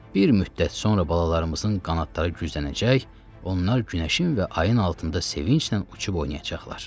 Bir müddət sonra balalarımızın qanadları güclənəcək, onlar günəşin və ayın altında sevinclə uçub oynayacaqlar.